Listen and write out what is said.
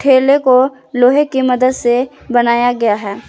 ठेले को लोहे की मदद से बनाया गया है।